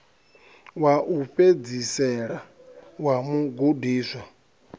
wa u fhedzisela wa mugudiswa